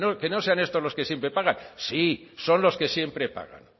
que no sean estos los que siempre pagan sí son los que siempre pagan